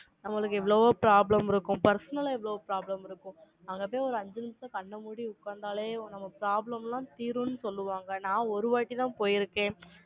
நம்மளுக்கு எவ்வளவோ problem இருக்கும். personal ஆ எவ்வளவோ problem இருக்கும் நாங்க அப்படியே ஒரு அஞ்சு நிமிஷம் கண்ணை மூடி உட்கார்ந்தாலே, நம்ம problem எல்லாம் தீரும்ன்னு சொல்லுவாங்க. நான் ஒரு வாட்டிதான் போயிருக்கேன்.